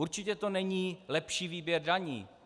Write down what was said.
Určitě to není lepší výběr daní.